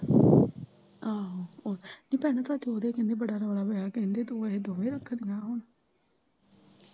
ਆਹੋ ਤੇ ਭੈਣਾਂ ਸੱਸ ਓਦੀ ਕਹਿੰਦੀ ਬੜਾ ਰੋਲਾ ਰੁਲਾ ਪਾਉਂਦੀ ਤੂੰ ਆਹੋ ਤੇ ਕਹਿੰਦੀ ਦੋਵੇਂ ਰੱਖਣੀਆਂ ਹੁਣ।